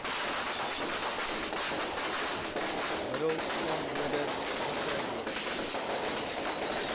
middels swamdoders onkruiddoders